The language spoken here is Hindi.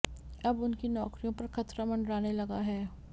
अब उनकी नौकरियों पर खतरा मंडराने लगा है